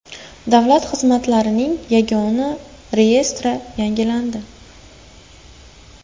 Davlat xizmatlarining yagona reyestri yangilandi.